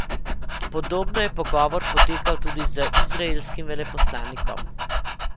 Podobno je pogovor potekal tudi z izraelskim veleposlanikom.